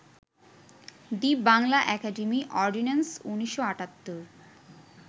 the Bangla academy ordinance, ১৯৭৮